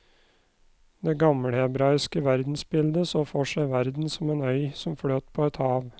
Det gammelhebraiske verdensbildet så for seg verden som en øy som fløt på et hav.